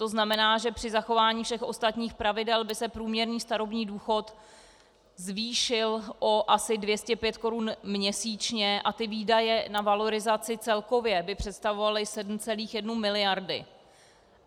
To znamená, že při zachování všech ostatních pravidel by se průměrný starobní důchod zvýšil o asi 205 korun měsíčně a výdaje na valorizaci celkově by představovaly 7,1 miliardy.